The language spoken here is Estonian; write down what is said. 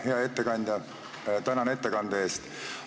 Hea ettekandja, tänan ettekande eest!